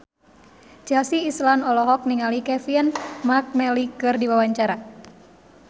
Chelsea Islan olohok ningali Kevin McNally keur diwawancara